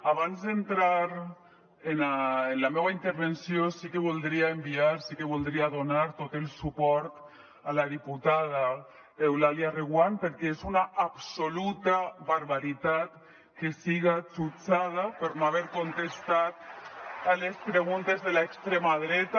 abans d’entrar en la meua intervenció sí que voldria enviar sí que voldria donar tot el suport a la diputada eulàlia reguant perquè és una absoluta barbaritat que siga jutjada per no haver contestat a les preguntes de l’extrema dreta